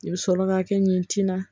I bɛ sɔrɔ ka kɛ ɲi tinna